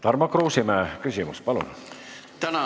Tarmo Kruusimäe küsimus, palun!